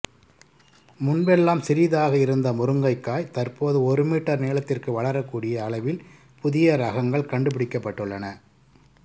முன்பெல்லாம் சிறிதாக இருந்த முருங்கைக்காய் தற்போது ஒரு மீட்டர் நீளத்திற்கு வளரக் கூடிய அளவில் புதிய ரகங்கள் கண்டுபிடிக்கப்பட்டுள்ளன